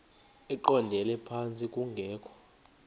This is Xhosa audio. eqondele phantsi kungekho